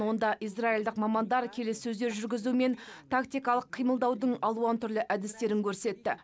онда израильдік мамандар келіссөздер жүргізу мен тактикалық қимылдаудың алуан түрлі әдістерін көрсетті